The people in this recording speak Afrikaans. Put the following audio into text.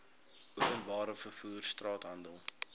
openbare vervoer straathandel